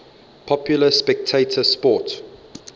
popular spectator sport